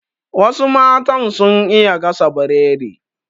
Wasu matan sun iya gasa Biredi